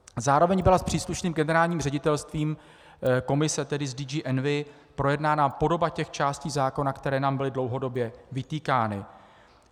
Zároveň byla s příslušným Generálním ředitelstvím Komise, tedy s DG Envi, projednána podoba těch částí zákona, které nám byly dlouhodobě vytýkány.